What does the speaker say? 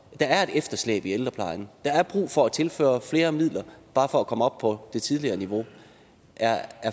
er et efterslæb i ældreplejen at der er brug for at tilføre flere midler bare for at komme op på det tidligere niveau er